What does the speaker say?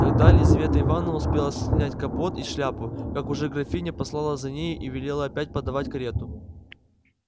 тогда лизавета ивановна успела снять капот и шляпу как уже графиня послала за нею и велела опять подавать карету